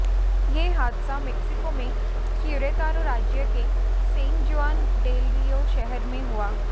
यह हादसा मैक्सिको में क्युरेतारो राज्य के सैन जुआन डेल रियो शहर में हुआ